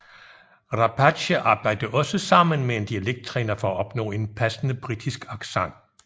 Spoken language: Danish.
Rapace arbejde også sammen med en dialekt træner for at opnå en passende britisk accent